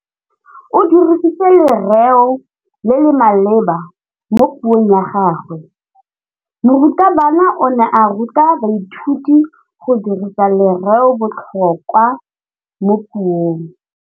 O dirisitse lerêo le le maleba mo puông ya gagwe. Morutabana o ne a ruta baithuti go dirisa lêrêôbotlhôkwa mo puong.